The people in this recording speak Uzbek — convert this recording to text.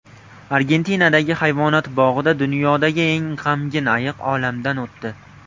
Argentinadagi hayvonot bog‘ida dunyodagi eng g‘amgin ayiq olamdan o‘tdi.